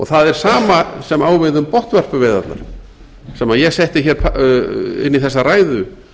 það er sama sem á við um botnvörpuveiðarnar sem ég setti hér inn í þessa ræðu